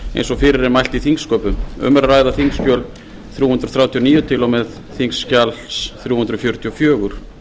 eins og fyrir er mælt í þingsköpum um er að ræða þingskjöl þrjú hundruð þrjátíu og níu til þrjú hundruð fjörutíu og fjögur